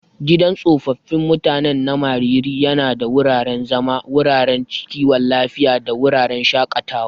Gidan tsofaffin mutanen na Mariri yana da wuraren zama, wuraren kiwon lafiya, da wuraren shakatawa.